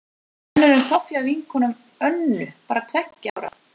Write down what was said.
Engin önnur en Soffía, vinkona Önnu, bara tveggja ára.